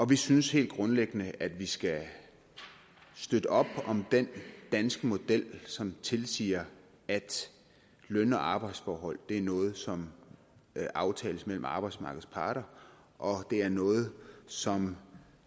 vi synes helt grundlæggende at vi skal støtte op om den danske model som tilsiger at løn og arbejdsforhold er noget som aftales mellem arbejdsmarkedets parter og det er noget som